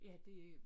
Ja det øh